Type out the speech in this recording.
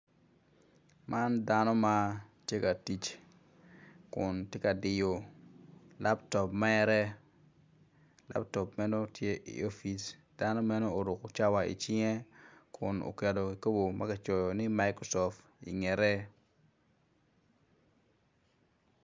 Man dano matye ka tic kun tye ka diyo lap top mere laptop men o tye i opic dano meno oruko cawa icinge kun oketo kikopo ma ki cayo ni Microsoft ingete